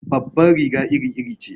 Babbar riga iri-iri ce.